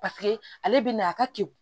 Paseke ale bɛ na a ka ke